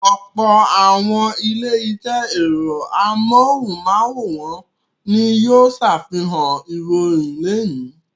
Ọ̀pọ̀ àwọn ilé-iṣẹ́ ẹ̀rọ amóhùmáwòhán ni yóò ṣàfihàn ìròyìn lónìí.